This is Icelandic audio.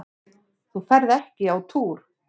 Þú ferð ekki á túr!